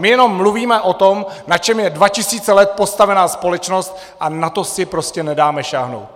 My jenom mluvíme o tom, na čem je dva tisíce let postavena společnost, a na to si prostě nedáme sáhnout!